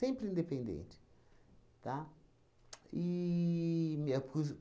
independente, tá? E minha pus